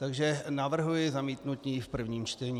Takže navrhuji zamítnutí v prvním čtení.